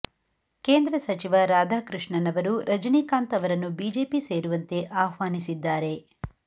ಕೇಂದ್ರ ಸಚಿವ ರಾಧಾಕೃಷ್ಣನ್ ಅವರು ರಜನಿಕಾಂತ್ ಅವರನ್ನು ಬಿಜೆಪಿ ಸೇರುವಂತೆ ಆಹ್ವಾನಿಸಿದ್ದಾರೆ